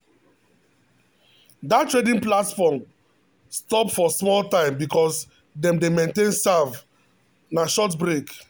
that trading platform stop for small time because dem dem dey maintain serve na short break